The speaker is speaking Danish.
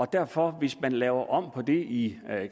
derfor hvis der laves om på det i